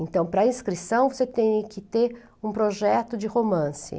Então, para inscrição você tem que ter um projeto de romance.